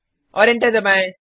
और एंटर दबाएँ